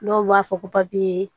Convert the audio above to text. Dɔw b'a fɔ ko papiye